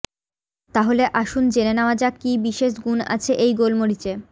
তাহলে আসুন জেনে নেওয়া যাক কী বিশেষ গুণ আছে এই গোলমরিচে